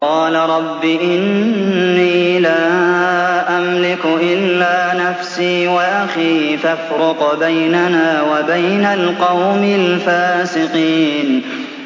قَالَ رَبِّ إِنِّي لَا أَمْلِكُ إِلَّا نَفْسِي وَأَخِي ۖ فَافْرُقْ بَيْنَنَا وَبَيْنَ الْقَوْمِ الْفَاسِقِينَ